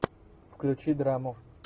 включи драму